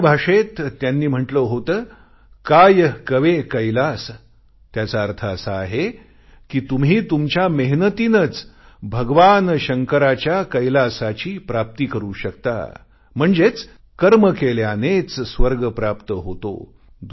कन्नड भाषेत त्यांनी म्हटले होते काय कवे कैलास त्याचा अर्थ असा आहे तुम्ही तुमच्या मेहनतीनेच भगवान शंकराच्या घराची कैलाशची प्राप्ती करू शकता म्हणजेच कर्म केल्यानेच स्वर्ग प्राप्त होतो